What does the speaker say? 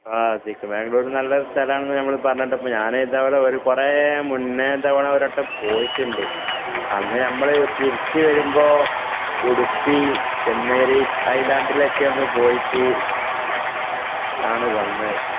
ആ ചിക്ക് മാംഗ്ലൂര് നല്ല ഒരു സ്ഥലമാണെന്ന് ഞമ്മള് പറഞ്ഞു കേട്ടപ്പോ ഞാന് ഇത് പോലെ കൊറേ മുന്നേ ഏതോ തവണ ഒരു വട്ടം പോയിട്ടുണ്ട്.അന്ന് ഞമ്മള് തിരിച്ചു വരുമ്പോ ഉഡുപ്പി, സെന്‍റ് മേരീസ് ഐലാന്‍ഡിലൊക്കെ പോയിട്ട് ആണ് വന്നത്.